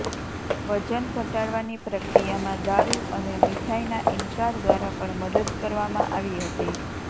વજન ઘટાડવાની પ્રક્રિયામાં દારૂ અને મીઠાઈના ઇનકાર દ્વારા પણ મદદ કરવામાં આવી હતી